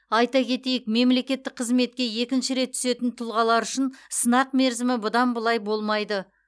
айта кетейік мемлекеттік қызметке екінші рет түсетін тұлғалар үшін сынақ мерзімі бұдан былай болмайды